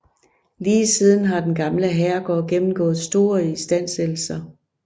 Lige siden har den gamle herregård gennemgået store istandsættelser